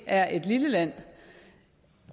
er et lille land